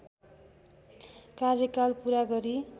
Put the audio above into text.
कार्यकाल पूरा गरी